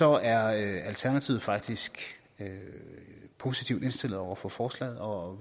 er alternativet faktisk positivt indstillet over for forslaget og